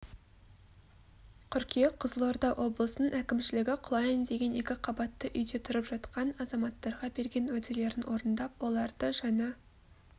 қыркүйек қызылорда облысының әкімшілігі құлайын деген екіқабатты үйде тұрып жатқан азаматтарға берген уәделерін орындап оларды жаңа